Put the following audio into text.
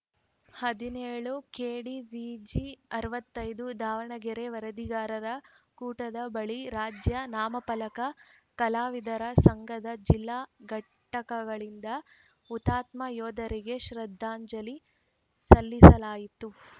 ಹದಿನೇಳು ಕೆಡಿವಿಜಿ ಅರವತ್ತ್ ಐದು ದಾವಣಗೆರೆ ವರದಿಗಾರರ ಕೂಟದ ಬಳಿ ರಾಜ್ಯ ನಾಮಫಲಕ ಕಲಾವಿದರ ಸಂಘದ ಜಿಲ್ಲಾ ಘಟಕದಿಂದ ಹುತಾತ್ಮ ಯೋಧರಿಗೆ ಶ್ರದ್ಧಾಂಜಲಿ ಸಲ್ಲಿಸಲಾಯಿತು